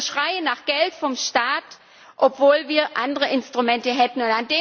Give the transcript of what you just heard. Also wir schreien nach Geld vom Staat, obwohl wir andere Instrumente hätten.